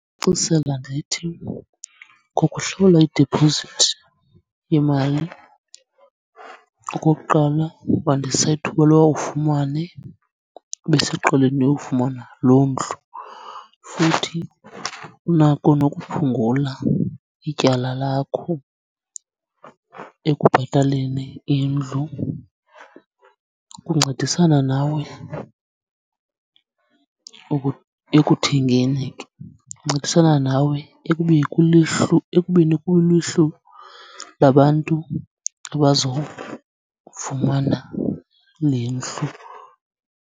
Ndithi ngokuhlawula idipozithi yemali, okokuqala, wandisa ithuba loba ufumane ubeseqeleni lofumana loo ndlu. Futhi unako nokuphungula ityala lakho ekubhataleni indlu ukuncedisana nawe ekuthengeni, kuncedisana nawe ekubeni kuluhlu labantu abazokufumana le ndlu.